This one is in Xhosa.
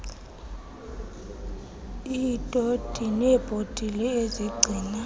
iitoti neebhotile ezigcina